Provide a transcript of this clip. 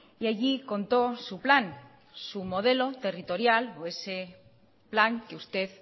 y allí conto su plan su modelo territorial o ese plan que usted